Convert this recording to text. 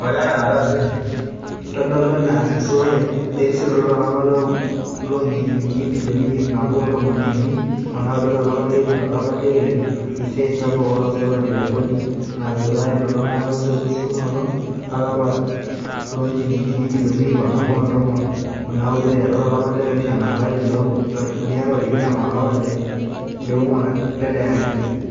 Itodolu ena esotore erisioroto tolapa loonjilinkini ibilioni iip naboo ontomon unii o naudo tolapa leimiet o tolapa leile, esiai sapuk olasotoni le kodi naatoduayia elolungata esotunoto olapa loonjilingini ibilioni iip nabo o tomon onaudo aiteru tolapa le opishana lolari loonkalifuni are o tikitam olapa le onguan lele arii.